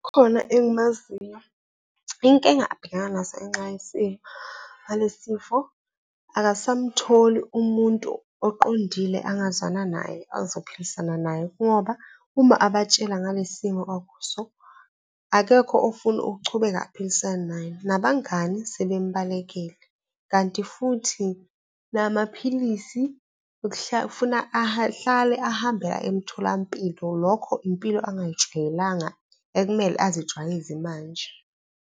Khona engimaziyo. Inkinga abhekana nazo ngenxa ngalesifo, akasamtholi umuntu oqondile angazwana naye, azophilisana naye, ngoba uma abatshela ngalesimo akuso akekho ofuna ukuchubeka aphilisane naye, nabangani sebembalekele, kanti futhi namaphilisi afuna ahlale ahambe aye emtholampilo. Lokho impilo ongayijwayelanga ekumele ezijwayeze manje.